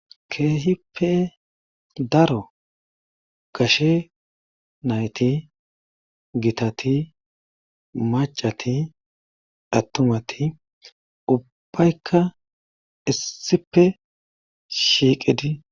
keehippe daro gashe nayti gitati macati attumati ubbaykka issipe shiiqedi